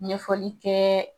Ɲɛfɔli kɛ